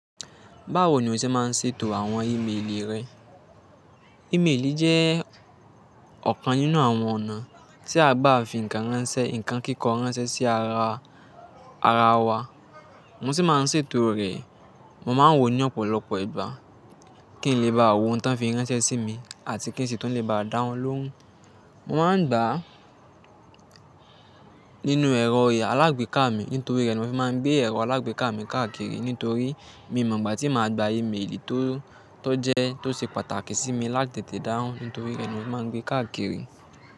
Báwo ni o ṣe máa ń ṣètò àwọn ìméélì rẹ? Ìméélì jẹ́ ọ̀kan nínú àwọn ọ̀nà tí a gba fi nǹkan ránṣẹ́, nǹkan kíkọ́ ránṣẹ́ sí ara wa. Mo sì máa ń ṣètò rẹ̀, mo máa ń wò ní ọ̀pọ̀lọpọ̀ ìgbà, kí ń lè bá wò ohun tí wọ́n fi ránṣẹ́ sí mi àti kí ń ṣè tun lè bá dá wọn lóhùn. Mo máa ń gbà á nínú ẹ̀rọ alágbèéká mi nítorí ri rẹ̀ ni mo fi máa ń gbé ẹ̀rọ alágbèéká mi káàkiri nítorí mi mọ̀ gbà tí mo á gba ìméélì tó jẹ́, tó ṣe pàtàkì sí mi láti tẹ̀tẹ́ dahùn nítorí rẹ̀ ni mo fi máa ń gbé káàkiri.